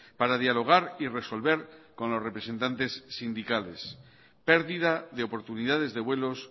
para dialogar y resolver con los representantes sindicales pérdida de oportunidades de vuelos